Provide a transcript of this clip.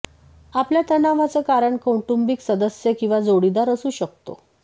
आपल्या तणावाचं कारण कौटुंबिक सदस्य किंवा जोडीदार असू शकतो